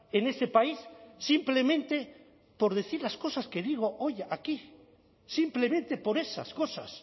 en ese país simplemente por decir las cosas que digo hoy aquí simplemente por esas cosas